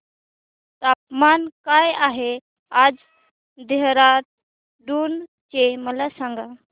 तापमान काय आहे आज देहराडून चे मला सांगा